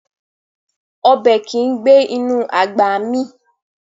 Ọbẹ̀ kìí gbé inú àgbà mì